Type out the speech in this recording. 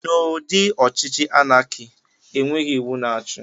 Na ụdị ọchịchị anaki, enweghị iwu na-achi.